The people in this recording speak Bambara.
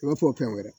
I b'a fɔ fɛn wɛrɛ